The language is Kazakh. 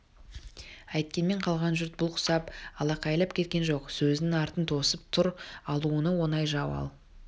әйткенмен қалған жұрт бұл құсап алақайлап кеткен жоқ сөздің артын тосып тұр алынуы оңай жау ал